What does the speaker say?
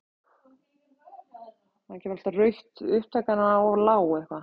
Ekki orð!